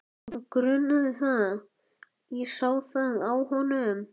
Hann grunaði það, ég sá það á honum.